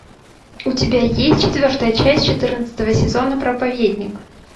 у тебя есть четвертая часть четырнадцатого сезона проповедник